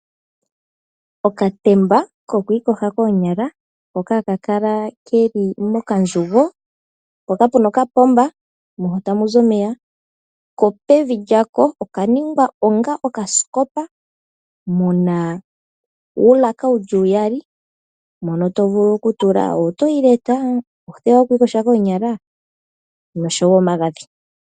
Okatemba koku iyogela koonyala hoka haka kala ke li mokandjugo. Opu na okapomba moka tamu zi omeya ko pevi lyako oka ningwa onga okasikopa mu na uulaka wu li uyali, moka to vulu okutula oombapila dhokokandjugo, oothewa dhoku iyoga koonyala noshowo omagadhi.